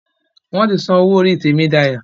Wón tí són owó orí Temidayo.